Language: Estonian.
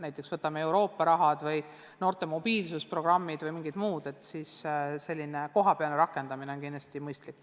Näiteks kui korraldada Euroopa Liidu raha kasutamist, noorte mobiilsusprogramme või mingeid muid tegevusi, siis kohapeal otsuste tegemine on kindlasti mõistlik.